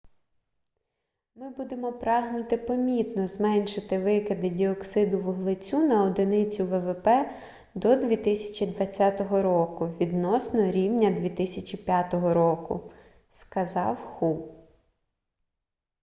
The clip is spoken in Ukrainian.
ми будемо прагнути помітно зменшити викиди діоксиду вуглецю на одиницю ввп до 2020 року відносно рівня 2005 року - сказав ху